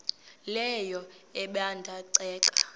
leyo ebanda ceke